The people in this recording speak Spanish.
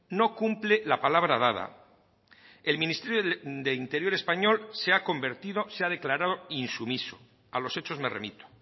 no cumple la palabra dada el ministerio de interior español se ha convertido se ha declarado insumiso a los hechos me remito